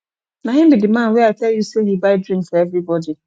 na him be the man wey i tell you say he buy drink for everybody